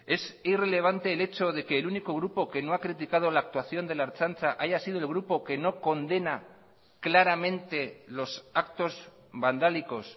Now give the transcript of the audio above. es irrelevante el hecho de que el único grupo que no ha criticado la actuación de la ertzaintza haya sido el grupo que no condena claramente los actos vandálicos